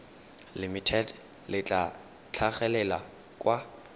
limited le tla tlhagelela kwa